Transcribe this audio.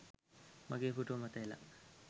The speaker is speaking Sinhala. මගේ පුටුව මත එලා